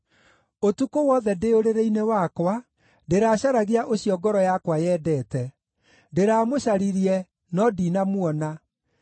Ũtukũ wothe ndĩ ũrĩrĩ-inĩ wakwa ndĩracaragia ũcio ngoro yakwa yendete; ndĩramũcaririe, no ndinamuona.